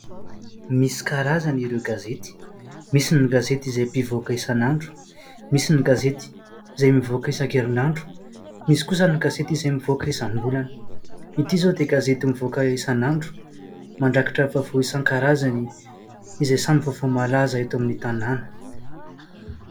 Misy karazany ireo gazety, misy ny gazety izay mpivoaka isanandro, misy ny gazety izay mivoaka isan-kerinandro. Misy kosa ny gazety izay mivoaka isambolana. Ity izao dia gazety mivoaka isanandro. Mandrakitra vaovao isan-karazany izay samy vaovao malaza eto amin'ny tanàna.